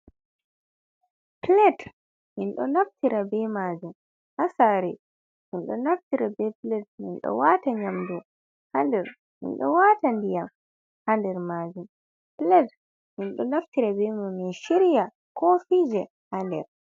Plate mindo naftira be majum hasare, mindo naftira be plate mindo wata nyamdu hader mindo wata ndiyam hader majun plate min do naftira beman min shirya kofije hader.